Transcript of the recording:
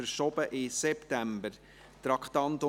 Es wird in den September verschoben.